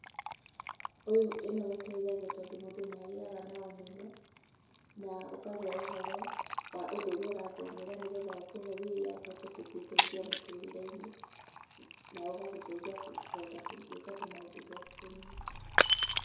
Ĩno ĩteithagia tondũ mũndũ nĩ agĩaga na ũmenyo na ũkagĩa ũhoro wa ũndũ ũrĩa ũrathomera, nĩgetha ũkũhe wĩra ũhote gũgĩĩteithia mũtũrĩre-inĩ na ũgagũteithia kũhota gwĩka tũmaũndũ twaku tũnini.